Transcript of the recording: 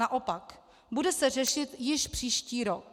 Naopak, bude se řešit již příští rok.